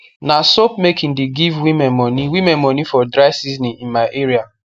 na soap making the give women moni women moni for dry seasoning in my area